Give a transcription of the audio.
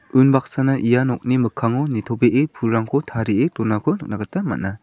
unbaksana ia nokni mikkango nitobee pulrangko tarie donako nikna gita man·a.